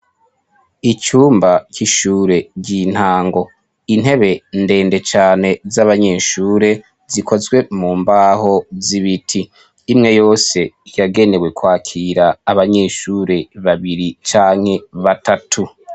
icyumba cy'ishure ryintango intebe ndende cyane z'abanyeshure zikozwe mu mbaho z'ibiti imwe yose yagenewe kwakira abanyeshure babiri canke batatu